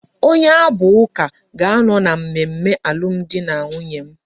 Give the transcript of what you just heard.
Onye abu uka ka ano na mmemme alum di na nwunye m